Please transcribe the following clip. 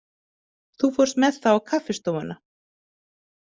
Þú fórst með það á kaffistofuna?